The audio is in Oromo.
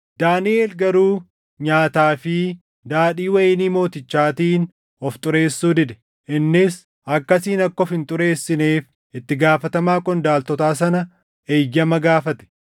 Daaniʼel garuu nyaataa fi daadhii wayinii mootichaatiin of xureessuu dide; innis akkasiin akka of hin xureessineef itti gaafatamaa qondaaltotaa sana eeyyama gaafate.